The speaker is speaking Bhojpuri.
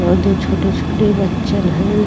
और दो छोटे-छोटे बच्चन है।